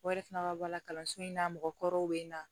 O yɛrɛ fana ka bɔ kalanso in na mɔgɔkɔrɔw bɛ na